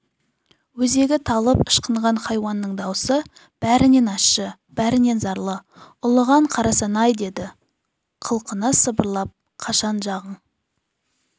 өзегі талып ышқынған хайуанның дауысы бәрінен ащы бәрінен зарлы ұлыған қарасан-ай деді қылқына сыбырлап қашан жағың